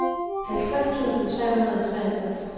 halvtreds tusind tre hundrede og treogtres